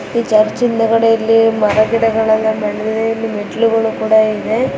ಈ ಚರ್ಚ್ ಹಿಂದಗಡೆ ಇಲ್ಲಿ ಮರ ಗಿಡಗಳು ಬೆಳೆದಿದೆ ಇಲ್ಲಿ ಮೆಟ್ಟಿಲುಗಳು ಕೂಡ ಇದೆ.